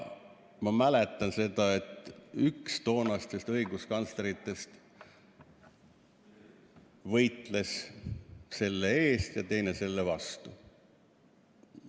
Ma mäletan seda, et üks toonastest õiguskantsleritest võitles selle eest ja teine selle vastu.